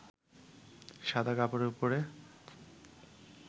সাদা কাপড়ের উপরে